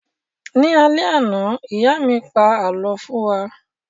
Ní alẹ́ àná, ìyá mí pa àlọ́ fún wa